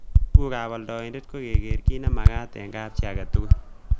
Tugukab oldoindet keger kit nemagat en kapchii agetugul.